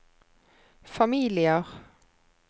familier